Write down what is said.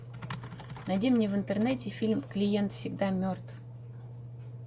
найди мне в интернете фильм клиент всегда мертв